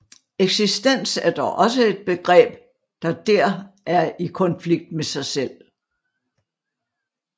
Eksistens er dog også et begreb der der i konflikt med sig selv